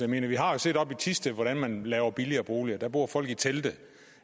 mener vi har jo set oppe i thisted hvordan man laver billigere boliger der bor folk i telte